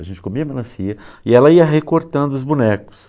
A gente comia melancia e ela ia recortando os bonecos.